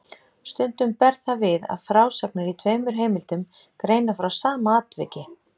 Stundum ber það við að frásagnir í tveimur heimildum greina frá sama atviki.